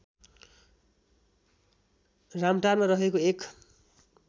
रामटारमा रहेको एक